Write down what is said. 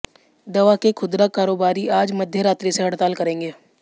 दवा के खुदरा कारोबारी आज मध्य रात्रि से हड़ताल करेंगे